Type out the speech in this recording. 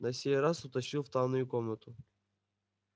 на сей раз утащил в тайную комнату